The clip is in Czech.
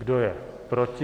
Kdo je proti?